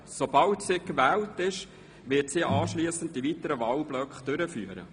Sobald sie gewählt ist, wird sie den Vorsitz übernehmen und die Behandlung der weiteren Wahlgeschäfte vornehmen.